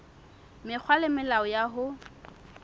mekgwa le melao ya ho